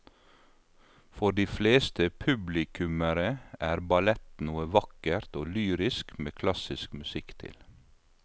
For de fleste publikummere er ballett noe vakkert og lyrisk med klassisk musikk til.